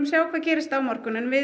sjá hvað gerist á morgun en við